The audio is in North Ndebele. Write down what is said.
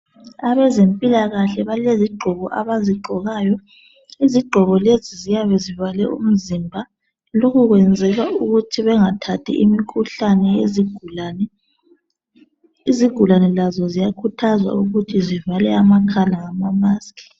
Abezempilakahle balezigqoko abazigqokayo. Izigqoko lezi ziyabe zivale umzimba, lokhu kwenzelwa ukuthi bengathathi imikhuhlane yezigulani. Izigulani lazo ziyakhuthazwa ukuthi zivale amakhala ngama musk.